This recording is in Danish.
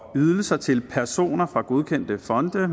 ydelser til personer fra godkendte fonde